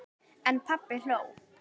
En pabbi hló.